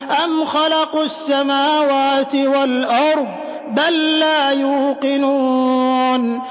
أَمْ خَلَقُوا السَّمَاوَاتِ وَالْأَرْضَ ۚ بَل لَّا يُوقِنُونَ